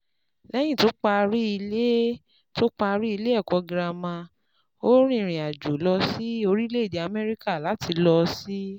Lẹ́yìn tó parí ilé tó parí ilé ẹ̀kọ́ girama, ó rìnrìn àjò lọ sí orílẹ̀-èdè Amẹ́ríkà láti lọ sí